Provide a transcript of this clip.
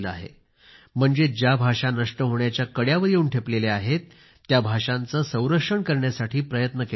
म्हणजेच ज्या भाषा नष्ट होण्याच्या मार्गावर येऊन ठेपलेल्या आहेत त्या भाषांचे संरक्षण करण्यासाठी प्रयत्न केला जात आहे